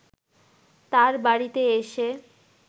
তার বাড়িতে এসে